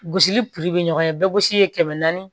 Gosili be ɲɔgɔn ɲɛ bɛɛ gosi ye kɛmɛ naani